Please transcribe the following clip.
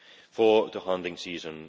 for the hunting season